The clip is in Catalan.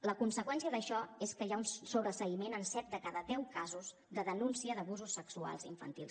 la conseqüència d’això és que hi ha un sobreseïment en set de cada deu casos de denúncia d’abusos sexuals infantils